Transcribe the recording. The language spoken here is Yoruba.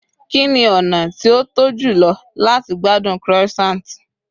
kini ona ti o to jùlọ lati gbádùn croissant